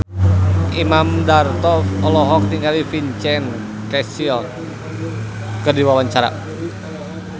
Imam Darto olohok ningali Vincent Cassel keur diwawancara